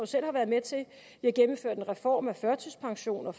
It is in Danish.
selv har været med til vi har gennemført en reform af førtidspension og